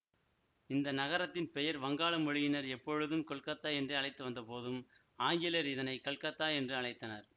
இந்த நகரத்தின் பெயர் வங்காள மொழியினர் எப்பொழுதும் கொல்கத்தா என்றே அழைத்து வந்த போதும் ஆங்கிலர் இதனை கல்கத்தா என்று அழைத்தனர்